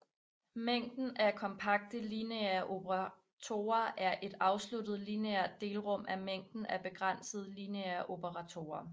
Mængden af kompakte lineære operatorer er et afsluttet lineært delrum af mængden af begrænsede lineære operatorer